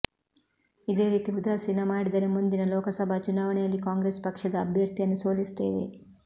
ಇದೇ ರೀತಿ ಉದಾಸೀನ ಮಾಡಿದರೆ ಮುಂದಿನ ಲೋಕಸಭಾ ಚುನಾವಣೆಯಲ್ಲಿ ಕಾಂಗ್ರೆಸ್ ಪಕ್ಷದ ಅಭ್ಯರ್ಥಿಯನ್ನು ಸೋಲಿಸುತ್ತೇವೆ